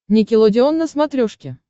никелодеон на смотрешке